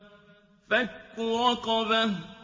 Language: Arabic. فَكُّ رَقَبَةٍ